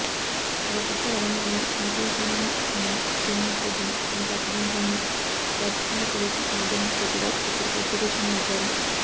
మరోపక్క వరంగల్లో సెంట్రల్ జైల్లో ఉన్న శ్రీనివాసరెడ్డిని తమకు అప్పగించాలని రాచకొండ పోలీసులు నల్లగొండ కోర్టులో ఇప్పటికే పిటిషన్ వేశారు